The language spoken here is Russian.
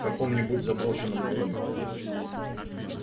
в каком-нибудь заброшенном доме